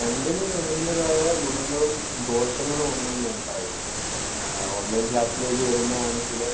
രണ്ടിനും അതിന്‍റേതായ ഗുണങ്ങളും ദോഷങ്ങളും ഉണ്ടെന്ന് ഞാൻ പറയും. ആഹ് ഓണ്‍ലൈന്‍ ക്ലാസ്സിലേക്ക് വരുന്നതാണെങ്കില്‍